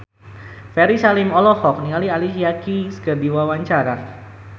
Ferry Salim olohok ningali Alicia Keys keur diwawancara